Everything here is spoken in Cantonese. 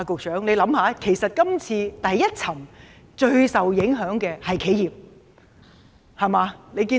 請局長想想，第一層最受影響的是企業。